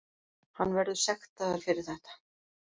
Hann verður sektaður fyrir þetta.